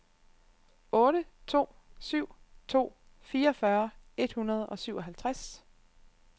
otte to syv to fireogfyrre et hundrede og syvoghalvtreds